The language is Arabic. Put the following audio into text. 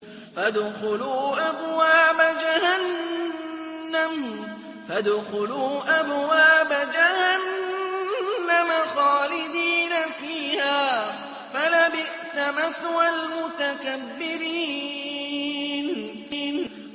فَادْخُلُوا أَبْوَابَ جَهَنَّمَ خَالِدِينَ فِيهَا ۖ فَلَبِئْسَ مَثْوَى الْمُتَكَبِّرِينَ